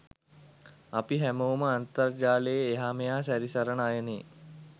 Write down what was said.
අපි හැමෝම අන්තර්ජාලේ එහා මෙහා සැරිසරන අයනේ?